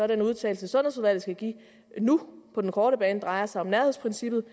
den udtalelse sundhedsudvalget skal give nu på den korte bane dreje sig om nærhedsprincippet